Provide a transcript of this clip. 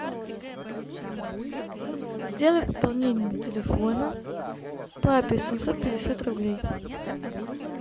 сделай пополнение телефона папе семьсот пятьдесят рублей